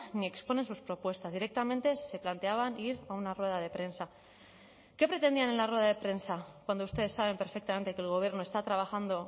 ni exponen sus propuestas directamente se planteaban ir a una rueda de prensa qué pretendían en la rueda de prensa cuando ustedes saben perfectamente que el gobierno está trabajando